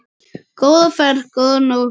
Góða ferð, góða nótt.